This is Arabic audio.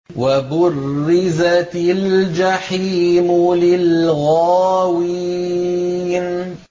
وَبُرِّزَتِ الْجَحِيمُ لِلْغَاوِينَ